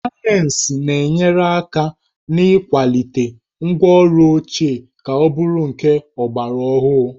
Sayensị na-enyere aka n'ịkwalite ngwaọrụ ochie ka ọ bụrụ nke ọgbaraọhụrụ